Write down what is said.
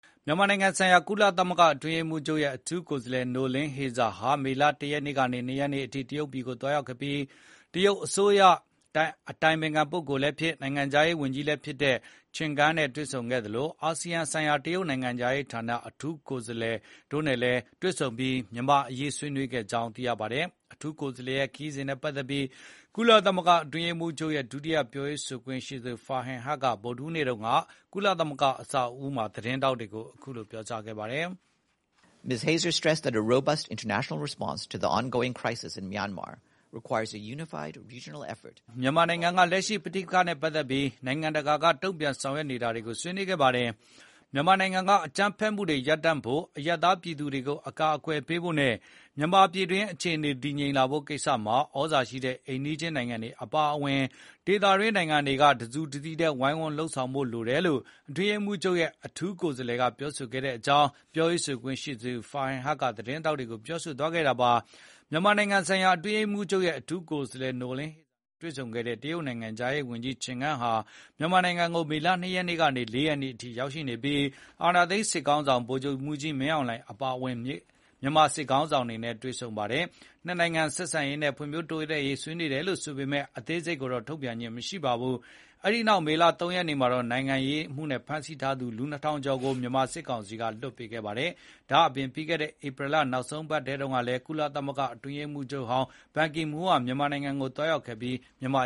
မြန်မာနိုင်ငံဆိုင်ရာ ကုလသမဂ္ဂအတွင်းရေးမှူးချုပ်ရဲ့ အထူးကိုယ်စားလှယ် နိုလင်းဟေဇာ (Noeleen Heyzer) ဟာ မေလ ၁ ရက်နေ့ကနေ ၂ ရက်နေ့ တရုတ်ပြည်ကိုသွားရောက်ခဲ့ပြီး တရုတ်အစိုးရအတိုင်ပင်ခံလည်းဖြစ်၊ နိုင်ငံခြားရေးဝန်ကြီးလည်းဖြစ်တဲ့ချင်ဂန်း (Qin Gang) နဲ့တွေ့ဆုံခဲ့သလို အာစီယံဆိုင်ရာ တရုတ်နိုင်ငံခြားရေးဌာန အထူးကိုယ်စားလှယ် Deng Xijun တို့နဲ့တွေ့ဆုံခဲ့ပြီး မြန်မာ့အရေး ဖြေရှင်းဆောင်ရွက်နိုင်ဖို့ ဆွေးနွေးခဲ့ပါတယ်။ အထူးကိုယ်စားလှယ်ရဲ့ခရီးစဉ်နဲ့ပတ်သက်ပြီး ကုလသမဂ္ဂအတွင်းရေးမှူးချုပ်ရဲ့ ဒုတိယပြောရေးဆိုခွင့်ရှိသူ Farhan Haq က ဗုဒ္ဓဟူးနေ့တုန်းက ကုလသမဂ္ဂအဆောက်အဦးမှာ သတင်းထောက်တွေကိုအခုလို ပြောခဲ့ပါတယ်။ “အထူးကိုယ်စားလှယ် ဟေဇာဟာ မြန်မာနိုင်ငံက လက်ရှိပဋိပက္ခနဲ့ပတ်သက်ပြီး နိုင်ငံတကာက တုံ့ပြန်ဆောင်ရွက်နေတာတွေကို ဆွေးနွေးခဲ့ပါတယ်။ မြန်မာနိုင်ငံက အကြမ်းဖက်မှုတွေရပ်တန့်ဖို့၊ အရပ်သားပြည်သူတွေကို အကာအကွယ်ပေးဖို့နဲ့ မြန်မာပြည်တွင်းအခြေအနေတွေ တည်ငြိမ်လာဖို့ကိစ္စမှာ သြဇာရှိတဲ့အိမ်နီးချင်းနိုင်ငံတွေအပါအဝင် ဒေသတွင်းနိုင်ငံတွေက တစုတစည်းတည်း ဝိုင်းဝန်းလုပ်ဆောင်ဖို့လိုအပ်တယ်လို့ အတွင်းရေးမှူးချုပ်ရဲ့ အထူးကိုယ်စားလှယ်က ဆွေးနွေးခဲ့ကြောင်း၊ ပြောခွင့်ရ Farhan Haq က သတင်းထောက်တွေကို ပြောသွားခဲ့တာပါ။ မြန်မာနိုင်ငံဆိုင်ရာ အတွင်းရေးမှူးချုပ်ရဲ့ အထူးကိုယ်စားလှယ် နိုလင်းဟေဇာနဲ့ တွေ့ဆုံခဲ့တဲ့ တရုတ် နိုင်ငံခြားရေးဝန်ကြီး ချင်ဂန်းဟာ မြန်မာနိုင်ငံကိုမေလ ၂ ရက်နေ့ကနေ ၄ ရက်နေ့အထိ ရောက်ရှိနေပြီး အာဏာသိမ်းစစ်ခေါင်းဆောင် ဗိုလ်ချုပ်မှူးကြီးမင်းအောင်လှိုင်အပါအဝင် မြန်မာစစ်ခေါင်းဆောင်တွေနဲ့ တွေ့ဆုံနွေးခဲ့ပါတယ်။ နှစ်နိုင်ငံဆက်ဆံရေးနဲ့ ဖွံ့ဖြိုးတိုးတက်ရေးကိစ္စတွေ ဆွေးနွေးခဲ့တယ်ဆိုပေမယ့် အသေးစိတ်ကိုတော့ ထုတ်ပြန်ခြင်းမရှိပါဘူး။ အဲဒီနောက် မေလ ၃ ရက်နေ့မှာ နိုင်ငံရေးအမှုနဲ့ဖမ်းဆီးထားသူ ၂,၀၀၀ ကျော်ကို စစ်ကောင်စီက လွှတ်ပေးခဲ့ပါတယ်။ ဒါ့ပြင် ပြီးခဲ့တဲ့ ဧပြီလ နောက် ဆုံးပတ်အတွင်း ကုလသမဂ္ဂအတွင်းရေးမှူးချုပ် ဘန်ကီမွန်းဟာလည်း မြန်မာနိုင်ငံကိုသွားရောက်ခဲ့ပြီး မြန်မာ